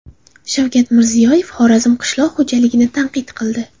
Shavkat Mirziyoyev Xorazm qishloq xo‘jaligini tanqid qildi.